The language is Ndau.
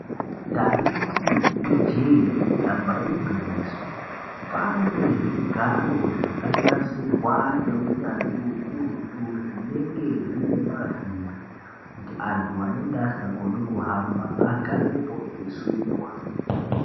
Taiti ijee damba igwinyiso panezvigaro zvakanasirwa ngeunyanzvi ukurutu zvinenge zvinemavhiri kuti antu anenge asikakoni kuhamba agarepo eyisundwa.